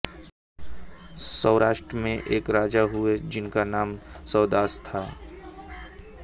सौराष्ट्र में एक राजा हुए जिनका नाम सौदास था